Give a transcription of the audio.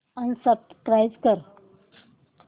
unsubscribe कर